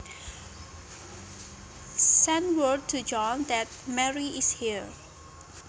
Send word to John that Mary is here